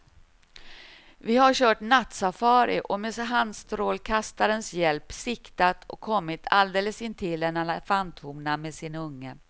Vi har kört nattsafari och med handstrålkastarens hjälp siktat och kommit alldeles intill en elefanthona med sin unge.